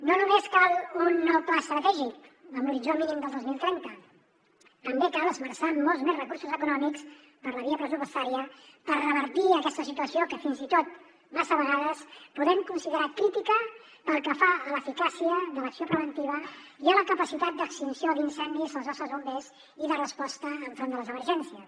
no només cal un nou pla estratègic amb l’horitzó mínim del dos mil trenta també cal esmerçar molts més recursos econòmics per la via pressupostària per revertir aquesta situació que fins i tot massa vegades podem considerar crítica pel que fa a l’eficàcia de l’acció preventiva i a la capacitat d’extinció d’incendis dels nostres bombers i de resposta enfront de les emergències